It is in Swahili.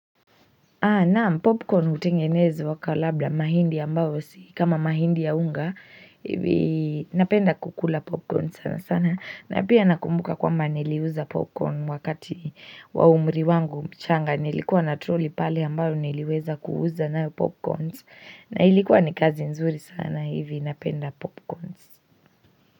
Naam popcorn hutengenezwa kwa labda mahindi ambayo si kama mahindi ya unga hivi napenda kukula popcorn sana sana na pia nakumbuka kwamba niliuza popcorn wakati wa umri wangu mchanga Nilikuwa na trolley pale ambayo niliweza kuuza nayo popcorn na ilikuwa ni kazi nzuri sana hivi napenda popcorn.